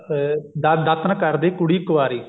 ਅਹ ਦਾਤਣ ਕਰਦੀ ਕੁੜੀ ਕੁਵਾਰੀ